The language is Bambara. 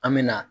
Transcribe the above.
An me na